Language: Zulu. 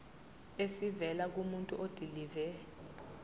esivela kumuntu odilive